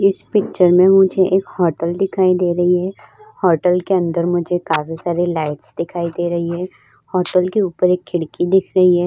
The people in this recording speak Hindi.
इस पिक्चर में मुझे एक हाटल दिखाई दे रही है। हाटल के अंदर मुझे काफी सारी लाइटस् दिखाई दे रही है। होटल के ऊपर एक खिड़की दिख रही है।